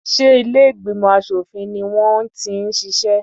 Ṣé ilé ìgbìmọ̀ aṣòfin ni wọ́n ti ń ṣiṣẹ́?